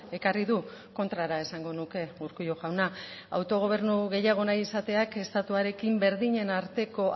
ekarri du kontrara esango nuke urkullu jauna autogobernu gehiago nahi izateak estatuarekin berdinen arteko